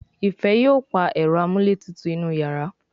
Ifẹ yóò pá Ẹ̀rọ amúlétutù inú iyàrá